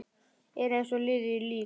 Er eins og liðið lík.